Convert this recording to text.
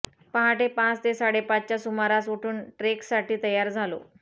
पहाटे पाच ते साडेपाचच्या सुमारास उठून ट्रेकसाठी तयार झालो